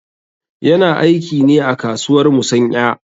Yana aiki ne a kasuwar musanƴa.